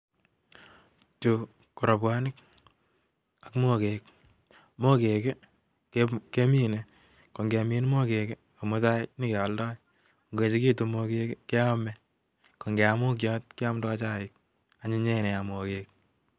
Chu ko robwonik ak mogek. Mogek, kemine. Ko ngemin mogek, ko mutai nyikealdoi. Ngoechekitu mogek, keame. Ko ngeam mokiot, keamdoi chaik. Anyinyen nea mogek